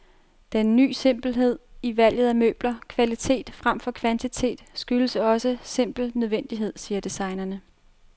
Den ny simpelhed i valget af møbler, kvalitet fremfor kvantitet, skyldes også simpel nødvendighed, siger designerne.